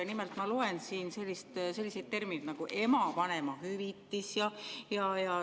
Nimelt ma loen, et siin on selline termin nagu "ema vanemahüvitis".